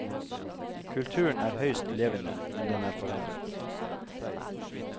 Kulturen er høyst levende, men den er forandret.